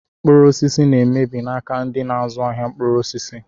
Mkpụrụ osisi na emebi n'aka ndị n'azụ ahịa mkpụrụ osisi.